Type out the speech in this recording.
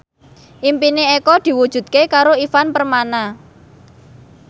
impine Eko diwujudke karo Ivan Permana